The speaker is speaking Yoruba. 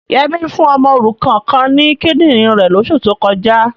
Yẹmí fún ọmọ òrukan kan ní kídìrín rẹ̀ lóṣù tó kọjá.